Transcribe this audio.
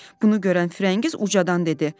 Bunu görən Firəngiz ucadan dedi.